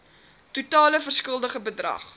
totale verskuldigde bedrag